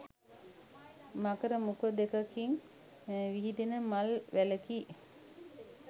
මකර මුඛ දෙකකින් විහිදෙන මල් වැලකි.